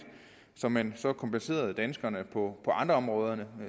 så man kompenserede danskerne på andre områder